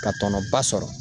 Ka tɔnɔ ba sɔrɔ.